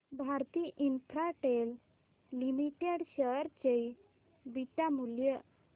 Bharti Infratel Limited share चे beta मूल्य